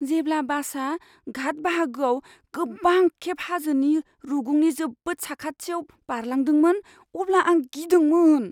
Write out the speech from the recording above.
जेब्ला बासआ घाट बाहागोआव गोबां खेब हाजोनि रुगुंनि जोबोद खाथियाव बारलांदोंमोन अब्ला आं गिदोंमोन।